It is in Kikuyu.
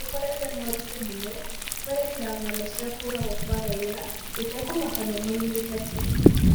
Tũkoretwo na ũritũ mũno kwerekera ng'ano cia kũũragwo kwa raiya, gũtekũmakania moimĩte kũ.